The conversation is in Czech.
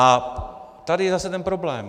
A tady je zase ten problém.